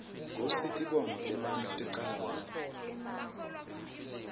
kutsi tibonao tebantfu ticala kuphi